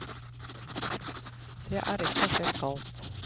Det er rett og slett galt.